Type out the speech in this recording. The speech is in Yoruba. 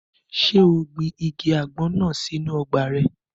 Ṣé o gbin igi àgbọn náà sínu ọgbà rẹ̀?